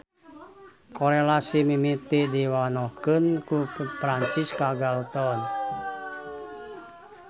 Korelasi mimiti diwanohkeun ku Francis Galton.